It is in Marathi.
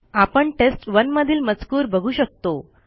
आपण टेस्ट1 मधील मजकूर बघू शकतो